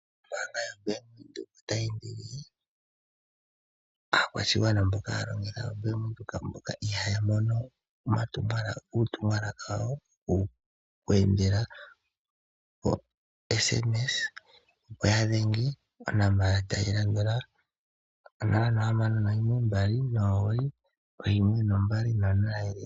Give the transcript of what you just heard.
Ombaanga yo Bank Windhoek otayi kunkilile aakwashigwana mboka haya longitha o Bank Windhoek mboka ihaya mono uutumwalaka wawo, oku endela pa sms ya dhenge onomola tayi landula, 0612991200.